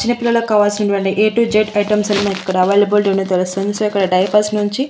చిన్నపిల్లల కావాల్సినటువంటి A to Z items అన్ని ఇక్కడ అవైలబిలిటీ ఉన్నట్టు తెలుస్తుంది సో ఇక్కడ డైపర్స్ నుంచి.